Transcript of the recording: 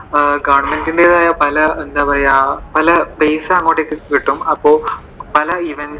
government ന്റേതായ പല എന്താ പറയുവാ പല പൈസ അങ്ങോട്ടേക്ക് കിട്ടും, അപ്പോ പല